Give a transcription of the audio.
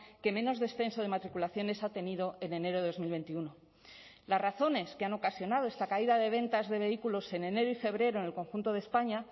que menos descenso de matriculaciones ha tenido en enero de dos mil veintiuno las razones que han ocasionado esta caída de ventas de vehículos en enero y febrero en el conjunto de españa